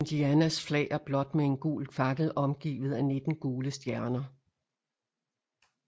Indianas flag er blåt med en gul fakkel omgivet af nitten gule stjerner